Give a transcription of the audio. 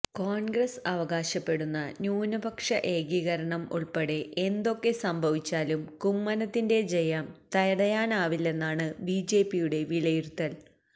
കോൺഗ്രസ് അവകാശപ്പെടുന്ന ന്യൂനപക്ഷ ഏകീകരണം ഉൾപ്പെടെ എന്തൊക്കെ സംഭവിച്ചാലും കുമ്മനത്തിന്റെ ജയം തടയാനാവില്ലെന്നാണ് ബിജെപിയുടെ വിലയിരുത്തൽ